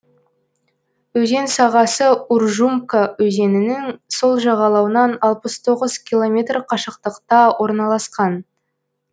өзен сағасы уржумка өзенінің сол жағалауынан алпыс тоғыз километр қашықтықта орналасқан